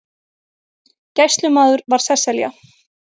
Gæslumaður var Sesselja